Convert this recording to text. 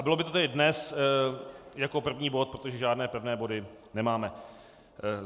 A bylo by to tedy dnes jako první bod, protože žádné pevné body nemáme.